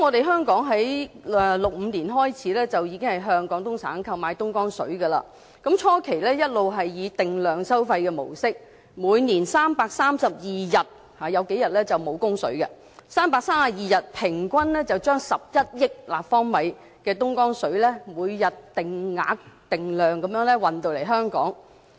香港在1965年開始已經向廣東省購買東江水，初期一直是以定量收費模式，每年332天，有數天是沒有供水的，就332天，平均將11億立方米的東江水每天定量定額地運送至香港。